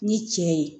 Ni cɛ ye